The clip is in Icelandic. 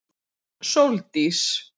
Sóldís